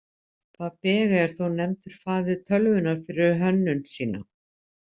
Babbage er þó nefndur faðir tölvunnar fyrir hönnun sína.